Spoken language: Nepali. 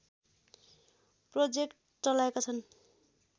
प्रोजेक्ट चलाएका छन्